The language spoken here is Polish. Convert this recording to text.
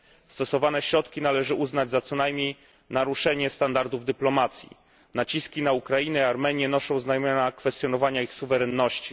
Stosowane środki należy uznać co najmniej za naruszenie standardów dyplomacji. Naciski na Ukrainę i Armenię noszą znamiona kwestionowania ich suwerenności.